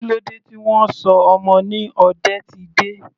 Kílódé tí wọn sọ ọmọ ni Odetide?